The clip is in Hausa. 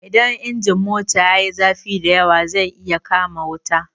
Idan injin mota yayi zafi da yawa zai iya kama wuta.